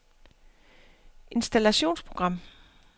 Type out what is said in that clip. installationsprogram